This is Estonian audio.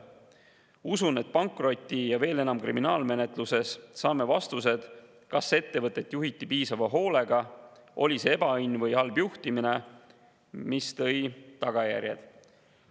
Usun, et pankroti‑ ja veel enam kriminaalmenetluses saame vastused, kas ettevõtet juhiti piisava hoolega, oli see ebaõnn või halb juhtimine, mis tõi tagajärjed.